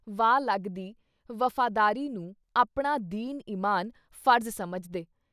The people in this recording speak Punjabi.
ਵਾਹ ਲੱਗਦੀ ਵਫ਼ਾਦਾਰੀ ਨੁੰ, ਆਪਣਾ ਦੀਨ ਈਮਾਨ, ਫ਼ਰਜ਼ ਸਮਝਦੇ।